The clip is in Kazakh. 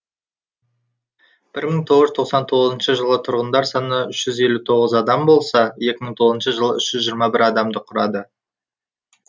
бір мың тоғыз жүз тоқсан тоғызыншы жылы тұрғындар саны үш жүз елу тоғыз адам болса екі мың тоғызыншы жылы үш жүз жиырма бір адамды құрады